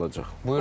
saxlanılacaq.